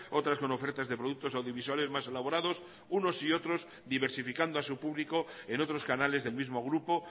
otras con ofertas de productos audiovisuales más elaborados unos y otros diversificando a su publico en otros canales del mismo grupo